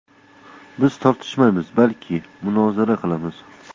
Biz tortishmaymiz, balki munozara qilamiz”.